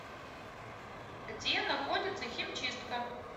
где находится химчистка